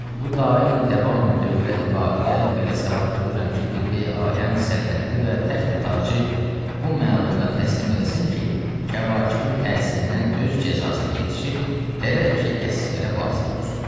Bu dayi, dəvam dövləti qahirə belə səlah görürəm ki, qibləyi aləm səltənəti və təxü tacı bu məluna təslim eləsin ki, kəvakibinin təsirindən öz cəzasını yetişib, dərəki əsvələ vasilə olsun.